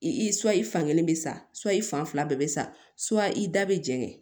I su fankelen bɛ sayi fan fila bɛɛ bɛ sa i da bɛ jɛngɛ